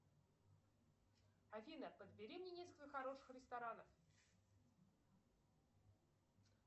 афина подбери мне несколько хороших ресторанов